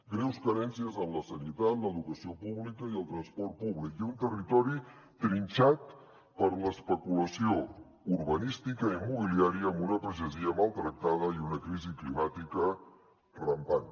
greus carències en la sanitat l’educació pública i el transport públic i un territori trinxat per l’especulació urbanística i immobiliària amb una pagesia maltractada i una crisi climàtica rampant